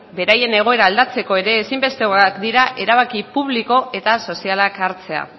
beraien egoera aldatzeko ezinbestekoak dira erabaki publiko eta sozialak hartzea